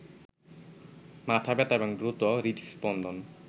মাথা ব্যথা এবং দ্রুত হৃদস্পন্দন